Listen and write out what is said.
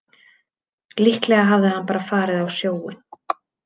Líklega hafði hann bara farið á sjóinn.